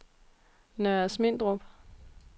Nørre Asmindrup